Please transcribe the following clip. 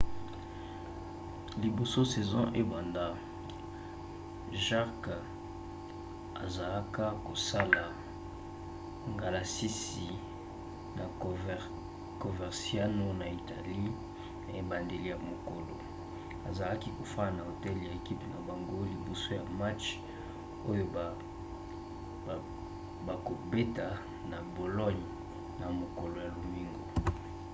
liboso saison ebanda jarque asalaka kosala ngalasisi na coverciano na italie na ebandeli ya mokolo. azalaki kofanda na hotel ya ekipe na bango liboso ya match oyo bakobeta na bologne na mokolo ya lomingo